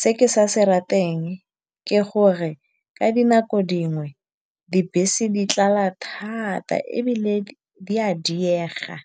Se ke sa se rateng ke gore ka dinako dingwe dibese di tlala thata ebile di a diega.